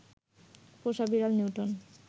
পোষা বেড়াল নিউটন